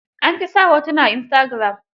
An fi sa hotuna a istagiram.